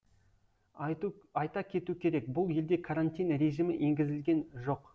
айта кету керек бұл елде карантин режимі енгізілген жоқ